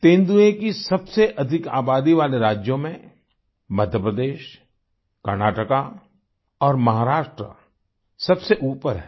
तेंदुए की सबसे अधिक आबादी वाले राज्यों में मध्यप्रदेश कर्नाटका और महाराष्ट्र सबसे ऊपर हैं